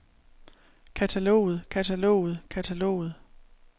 kataloget kataloget kataloget